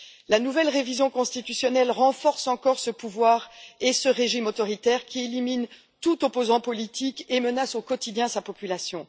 La nouvelle révision constitutionnelle renforce encore ce pouvoir et ce régime autoritaire, qui élimine tout opposant politique et menace au quotidien sa population.